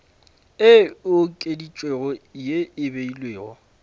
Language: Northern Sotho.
e okeditšwego ye e beilwego